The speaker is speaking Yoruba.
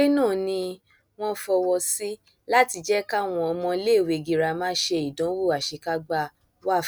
ìwọlé náà ni wọn fọwọ sí láti jẹ káwọn ọmọ iléèwé girama ṣe ìdánwò àṣekágbá wafc